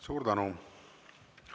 Suur tänu!